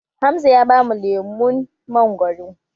Hamza ya bamu lemun mangwaro